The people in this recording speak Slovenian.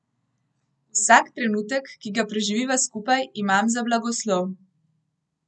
Vsak trenutek, ki ga preživiva skupaj, imam za blagoslov.